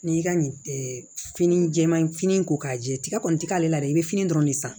N'i y'i ka fini jɛman fini ko k'a jɛ tigɛ kɔni ti k'ale la dɛ i bɛ fini dɔrɔn de san